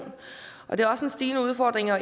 og det er også en stigende udfordring at